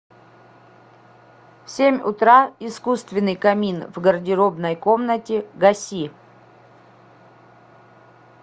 в семь утра искусственный камин в гардеробной комнате гаси